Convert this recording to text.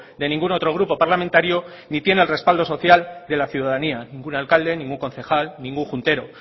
de ningún otro grupo parlamentario ni tiene el respaldo social de la ciudadanía ningún alcalde ningún concejal ningún juntero